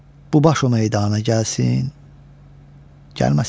Bu baş o meydana gəlsin, gəlməsin.